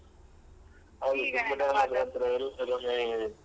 ಹೌದು ತುಂಬ ಟೈಮಾದ ನಂತ್ರ ಎಲ್ಲರನ್ನು ಒಟ್ಟುಗೂಡಿಸುವ ಅಂತ ಒಂದು ಫೋನ್ ಮಾಡಿದ್ದು.